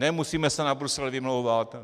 Nemusíme se na Brusel vymlouvat.